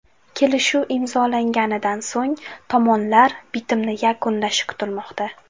Kelishuv imzolanganidan so‘ng tomonlar bitimni yakunlashi kutilmoqda.